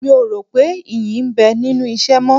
Mi ò rò pé ìyí ń bẹ nínú ìṣẹ́ mọ́